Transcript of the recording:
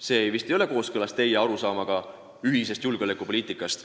See vist ei ole kooskõlas teie arusaamaga ühisest julgeolekupoliitikast.